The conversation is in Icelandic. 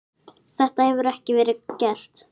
Þetta hefur ekki verið gert.